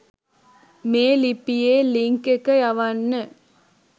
මේ ලිපියේ ලින්ක් එක යවන්න.